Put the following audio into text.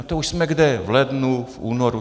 A to už jsme kde: V lednu, v únoru.